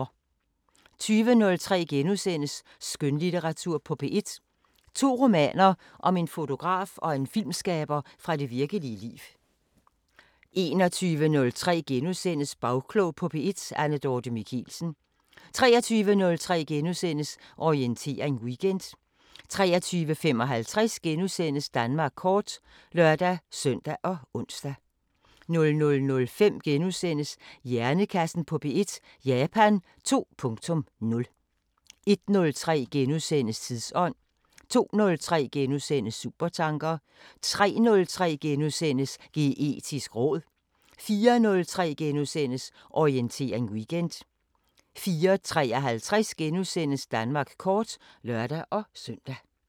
20:03: Skønlitteratur på P1: To romaner om en fotograf og en filmskaber fra det virkelige liv * 21:03: Bagklog på P1: Anne Dorthe Michelsen * 23:03: Orientering Weekend * 23:55: Danmark kort *(lør-søn og ons) 00:05: Hjernekassen på P1: Japan 2.0 * 01:03: Tidsånd * 02:03: Supertanker * 03:03: Geetisk råd * 04:03: Orientering Weekend * 04:53: Danmark kort *(lør-søn)